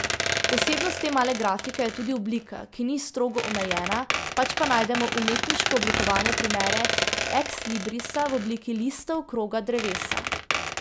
Posebnost te male grafike je tudi oblika, ki ni strogo omejena, pač pa najdemo umetniško oblikovane primere ekslibrisa v obliki listov, kroga, drevesa ...